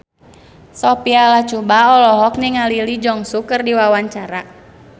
Sophia Latjuba olohok ningali Lee Jeong Suk keur diwawancara